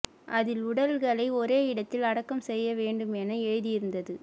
அதில் உடல்களை ஒரே இடத்தில் அடக்கம் செய்ய வேண்டும் என எழுதியிருந்தது